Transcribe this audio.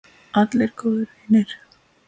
Allir góðir vinir.